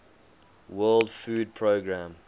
world food programme